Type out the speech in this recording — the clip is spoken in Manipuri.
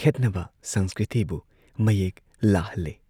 ꯈꯦꯠꯅꯕ ꯁꯪꯁꯀ꯭ꯔꯤꯇꯤꯕꯨ ꯃꯌꯦꯛ ꯂꯥꯍꯜꯂꯦ ꯫